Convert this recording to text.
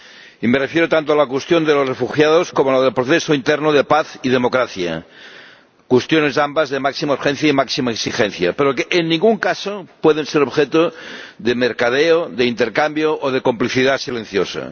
Y me refiero tanto a la cuestión de los refugiados como a la del proceso interno de paz y democracia, cuestiones ambas de máxima urgencia y máxima exigencia, pero que, en ningún caso, pueden ser objeto de mercadeo, de intercambio o de complicidad silenciosa.